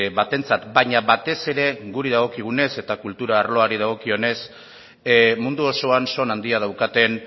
batentzat baina batez ere guri dagokigunez eta kultura arloari dagokionez mundu osoan son handia daukaten